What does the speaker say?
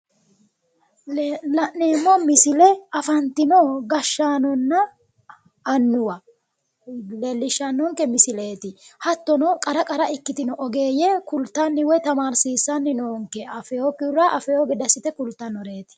La'neemmo misile afantino gashshaano annuwa leellishannonke misileeti. hattono qara qara ikkitino ogeeyye kultanni woyi tamaarsiissanno noonke, afewookkihura afewo gede assite kultannoreeti.